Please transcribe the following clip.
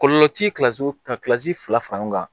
Kɔlɔlɔ ti ka fila far'an kan